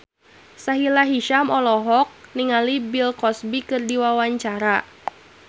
Sahila Hisyam olohok ningali Bill Cosby keur diwawancara